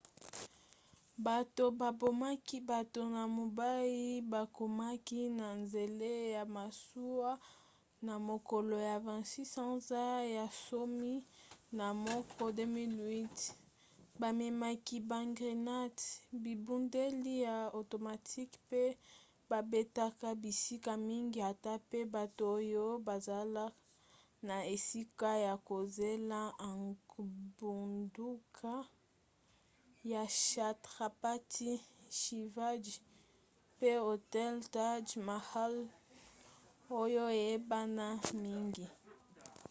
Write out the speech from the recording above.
bato babomaki bato na mumbai bakomaki na nzela ya masuwa na mokolo ya 26 sanza ya zomi na moko 2008 bamemaki bagrenate bibundeli ya automatique mpe babetaka bisika mingi ata pe bato oyo bazala na esika ya kozela engbunduka ya chhatrapati shivaji mpe hotel taj mahal oyo eyebana mingi